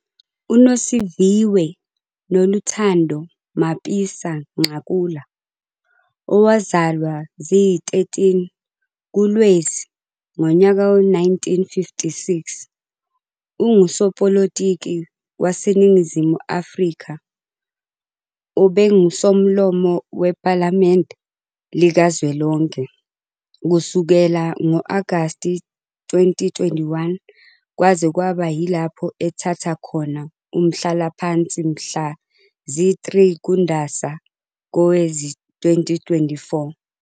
UNosiviwe Noluthando Mapisa-Nqakula, owazalwa ziyi-13 kuLwezi ngonyaka we-1956, ungusopolitiki waseNingizimu Afrika obengu Somlomo wePhalamende likazwelonke kusukela ngo-Agasti 2021 kwaze kwaba yilapho ethatha khona umhlalaphansi mhla zi-3 kuNdasa kowezi 2024.